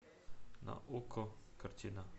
на окко картина